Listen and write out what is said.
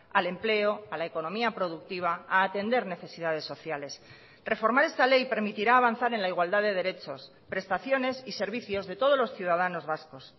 al empleo a la economía productiva a atender necesidades sociales reformar esta ley permitirá avanzar en la igualdad de derechos prestaciones y servicios de todos los ciudadanos vascos